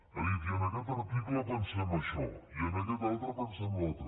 ha dit i en aquest article pensem això i en aquest altre pensem allò altre